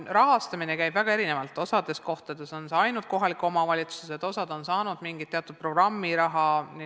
Rahastamine käib väga erinevalt, mõnel pool teevad seda kohalikud omavalitsused, osa muuseume on saanud mingit programmiraha.